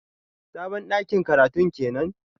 Sabon dakin karatun kenan?